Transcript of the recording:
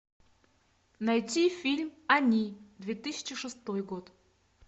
найти фильм они две тысячи шестой год